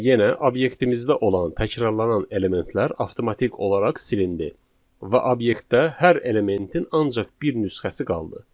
Gördüyünüz kimi, yenə obyektimizdə olan təkrarlanan elementlər avtomatik olaraq silindi və obyektdə hər elementin ancaq bir nüsxəsi qaldı.